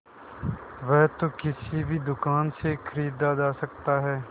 वह तो किसी भी दुकान से खरीदा जा सकता है